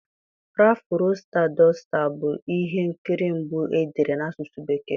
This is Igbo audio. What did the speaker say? Rafụ Roịsta Doịsta bụ ihe nkiri mbụ e dere n'asụsụ bekee.